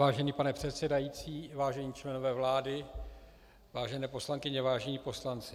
Vážený pane předsedající, vážení členové vlády, vážené poslankyně, vážení poslanci.